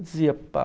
Eu dizia, pá